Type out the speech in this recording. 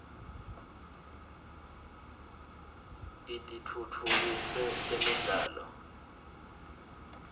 kitfutfukise temidlalo